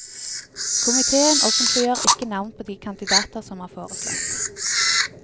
Komiteen offentliggjør ikke navn på de kandidater som er foreslått.